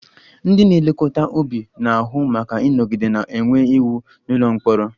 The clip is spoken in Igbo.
Ndị na-elekọta ubi na-ahụ maka ịnọgide na-enwe iwu n'ụlọ mkpọrọ